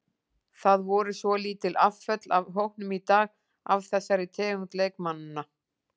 Það voru svolítil afföll af hópnum í dag af þessari tegund leikmanna.